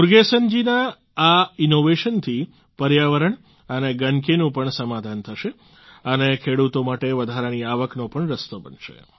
મુરગેસન જીના આ ઈનોવેશન થી પર્યાવરણ અને ગંદકીનું પણ સમાધાન થશે અને ખેડૂતો માટે વધારાની આવકનો પણ રસ્તો બનશે